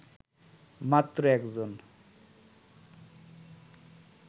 মাত্র একজন